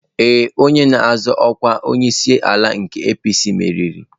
Ee, onye na-azọ ọkwa onyeisiala nke APC meriri.